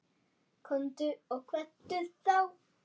Komdu og kveddu þá.